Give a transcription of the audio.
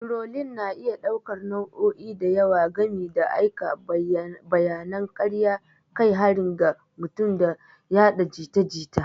Turolin na iya ɗaukar nau'o'i da yawa gami da aika bayanan karya, kai harin ga mutum, da yaɗa jita jita.